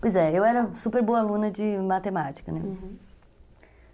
Pois é, eu era super boa aluna de matemática, né? Uhum.